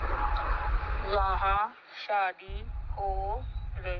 यहां शादी हो र--